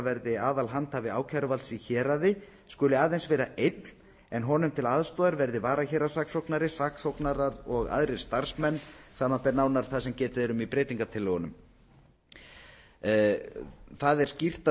verði aðalhandhafi ákæruvalds í héraði skuli aðeins vera einn en honum til aðstoðar verði varahéraðssaksóknari saksóknarar og aðrir starfsmenn samanber nánar það sem getið er um í breytingartillögunum það er skýrt að